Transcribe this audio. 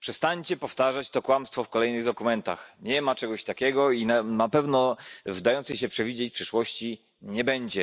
przestańcie powtarzać to kłamstwo w kolejnych dokumentach. Nie ma czegoś takiego i na pewno w dającej się przewidzieć przyszłości nie będzie.